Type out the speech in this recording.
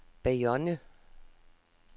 Bayonne